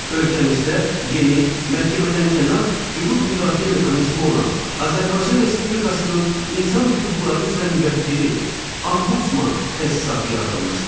Ölkəmizdə yeni, məhkəmədənkənar hüquq müdafiə mexanizmi olan Azərbaycan Respublikasının İnsan Hüquqları üzrə Müvəkkili (Ombudsman) təsisatı yaradılmışdır.